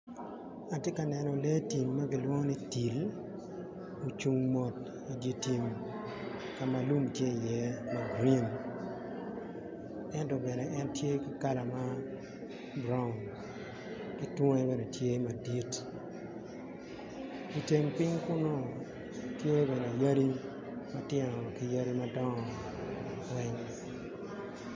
Atye ka neno lee tim ma kilwongo ni til ocung mot i dyer tim ka ma lum tye iye ma gurin ento bene en tye ki kala ma buraun ki tunge bene tye madit iteng piny kunu tye bene yadi matino ki yadi madongo weny